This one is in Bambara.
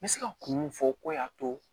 N bɛ se ka kun mun fɔ ko y'a to